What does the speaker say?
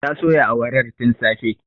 Ta soya awarar tin safe